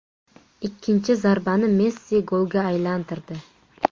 Ikkinchi zarbani Messi golga aylantirdi.